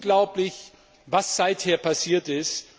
Es ist unglaublich, was seither passiert ist.